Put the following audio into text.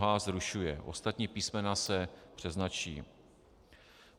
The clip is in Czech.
h) zrušuje, ostatní písmena se přeznačí.